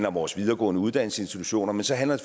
om vores videregående uddannelsesinstitutioner men så handler